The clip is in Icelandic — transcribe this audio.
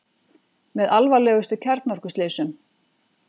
Með alvarlegustu kjarnorkuslysum